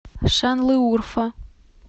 шанлыурфа